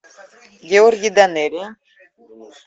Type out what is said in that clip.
георгий данелия